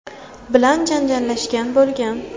bilan janjallashgan bo‘lgan.